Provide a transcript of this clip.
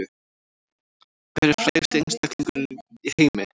Hver er frægasti einstaklingur í heimi